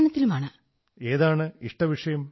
which one is your favourite subject